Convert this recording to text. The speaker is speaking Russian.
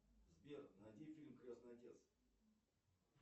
сбер найди фильм крестный отец